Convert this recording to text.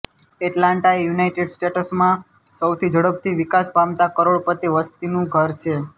Atlanta એ United સ્ટેટ્સમાં સૌથી ઝડપથી વિકાસ પામતા કરોડોપતિ વસ્તીનું ઘર છે